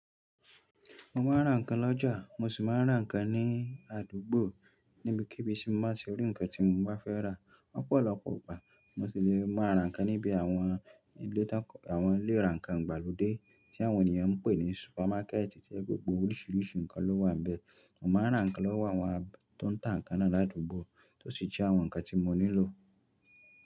Mo máa ń rà ǹkan lọ́jà, mo sì máa ń rà ǹkan ní àdúgbò níbi kí bí ti n bati ri ǹkan tí mo bá fẹ́ rà. Lopọ̀lọpọ̀ ìgbà mo sì lè máa rà ǹkan níbi àwọn ilé àwọn ilé ìrà ǹkàn ìgbàlódé tí àwọn ènìyàn ń pè ní supermarket tí gbogbo oríṣiríṣi ǹkan ló wà níbẹ̀. Mo máa ń rà ǹkan lọ́wọ́ àwọn tó ń tà ǹkan náà ládùúgbò tó sì jẹ àwọn ǹkan tí mo nílò.